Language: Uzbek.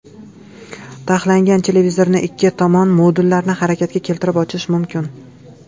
Taxlangan televizorni ikki tomon modullarini harakatga keltirib ochish mumkin.